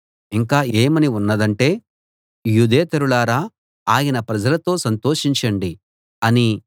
ఇంకా ఏమని ఉన్నదంటే యూదేతరులారా ఆయన ప్రజలతో సంతోషించండి అనీ